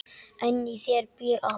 En í þér býr allt.